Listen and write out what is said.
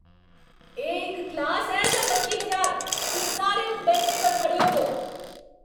एह् इक क्लास ऐ जां मच्छी बजार? तुस सारे हून बैंचें पर खड़े होवो !